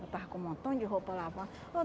Eu estava com um montão de roupa lavada.